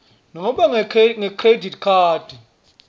nobe ngekhredithi khadi